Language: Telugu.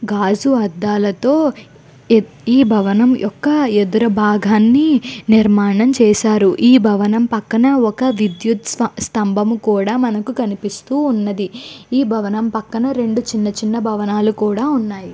గాజు అడులతో ఈ బ భవనం ఒక ఎదురు భాగాని నిర్మించారు. ఈ భవనం పక్కన ఒక విడుత్ సంబల్లని కూడా మనకిన్కనిపిస్తూ వున్నది. ఈ భవనం పక్ప్కన రెండు చిన్న చిన్న భావనల్లు కూడా చ్వున్నాయ్.